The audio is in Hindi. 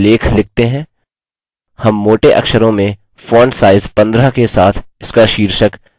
हम मोटे अक्षरों में font size 15 के साथ इसका शीर्षक nature देंगे